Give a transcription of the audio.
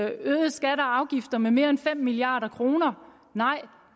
øget skatter og afgifter med mere end fem milliard kroner nej